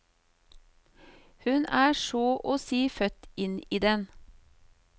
Hun er så å si født inn i den.